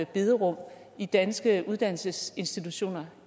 bederum i danske uddannelsesinstitutioner